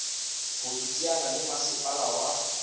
ho iteanya le masepala wa